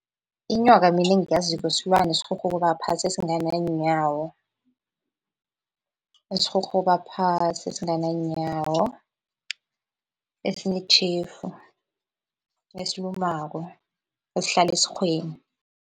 Inyoka mina engiyaziko silwane esirhurhuba phasi esingananyawo, esirhurhuba phasi esingananyawo, esinetjhefu, esilumako, esihlala esirhweni.